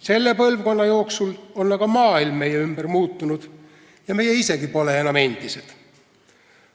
Selle põlvkonna jooksul on aga maailm meie ümber muutunud ja meie isegi pole enam endised.